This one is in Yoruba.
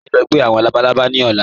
Ṣé à sì ń lọ̀ gbẹ̀ awọn labàlábà ni ọ̀lá?